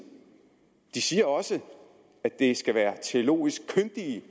de siger også at det skal være teologisk kyndige